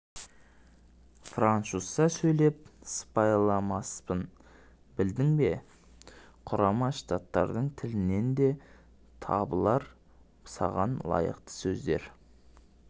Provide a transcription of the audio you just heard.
французша сөйлеп сыпайыламаспын білдің бе құрама штаттардың тілінен де табылар саған лайықты сөздер